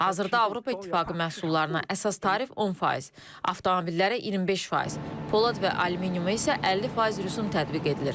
Hazırda Avropa İttifaqı məhsullarına əsas tarif 10%, avtomobillərə 25%, polad və alüminiuma isə 50% rüsum tətbiq edilir.